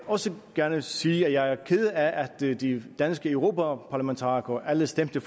også gerne sige at jeg er ked af at de danske europaparlamentarikere alle stemte